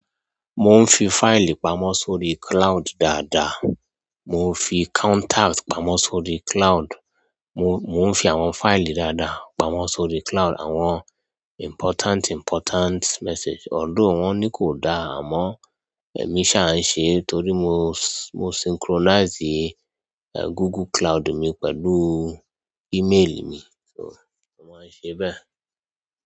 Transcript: Mo ń fi fáìlì pamọ́ sórí cloud dada. Mo fi contact pamọ́ sórí cloud. Mo, mo ń fi àwọn fáìlì dada pamọ́ sórí cloud, àwọn important, important message. Although wọn ni kò dáa, àmọ èmi ṣa ń ṣe e torí mo, mo synchronize e, Google Cloud mi pẹ̀lú email mi, so mo má ń ṣe e bẹ́ẹ̀.